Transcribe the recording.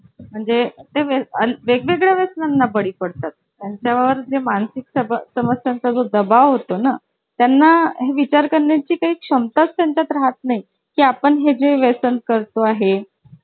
अच्छा अच्छा हा हा हा, हो हो आहे, आलं लक्षात